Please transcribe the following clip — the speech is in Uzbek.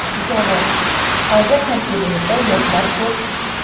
Javob: Hozir tarkibimizda yoshlar ko‘p.